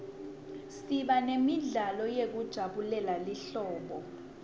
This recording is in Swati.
siba nemidlalo yekujabulela lihlobo